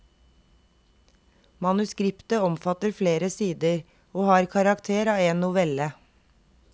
Manuskriptet omfatter flere sider, og har karakter av en novelle.